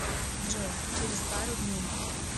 джой через пару дней